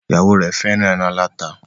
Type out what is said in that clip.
Ìyàwó rẹ fẹràn èràn alata.